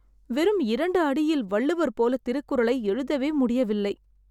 வெறும் இரண்டு அடியில் வள்ளுவர் போல திருக்குறளை எழுதவே முடியவில்லை.